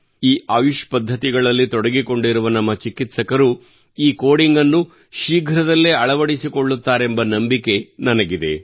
ಈ ಆಯುಷ್ ಪದ್ಧತಿಗಳಲ್ಲಿ ತೊಡಗಿಕೊಂಡಿರುವ ನಮ್ಮ ಚಿಕಿತ್ಸಕರು ಈ ಕೋಡಿಂಗ್ ಅನ್ನು ಶೀಘ್ರದಲ್ಲೇ ಅಳವಡಿಸಿಕೊಳ್ಳುತ್ತಾರೆಂಬ ನಂಬಿಕೆ ನನಗಿದೆ